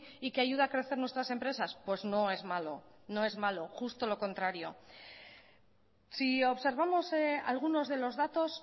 y que ayuda a crecer nuestras empresas pues no es malo no es malo justo lo contrario si observamos algunos de los datos